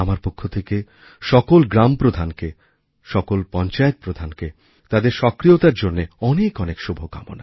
আমার পক্ষ থেকে সকল গ্রামপ্রধানকে সকল পঞ্চায়েতপ্রধানকে তাদের সক্রিয়তার জন্য অনেক অনেক শুভকামনা